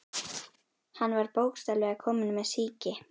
Hann var bókstaflega kominn með sýki.